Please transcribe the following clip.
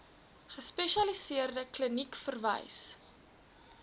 gespesialiseerde kliniek verwys